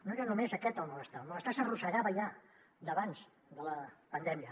no era només aquest el malestar el malestar s’arrossegava ja d’abans de la pandèmia